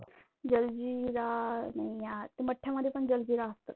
जलजीरा नाही यार ते मठ्ठ्यामध्ये पण जलजीरा असतं.